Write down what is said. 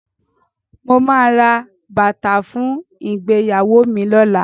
Mo máa ra bàtà fún ìgbéyàwó mi lọ́la.